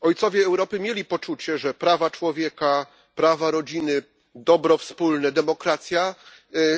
Ojcowie Europy mieli poczucie, że prawa człowieka, prawa rodziny, dobro wspólne, demokracja